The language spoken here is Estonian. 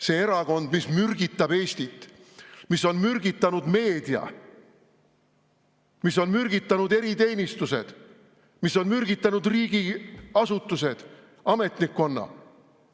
See erakond, mis mürgitab Eestit, mis on mürgitanud meedia, mis on mürgitanud eriteenistused, mis on mürgitanud riigiasutused, ametnikkonna.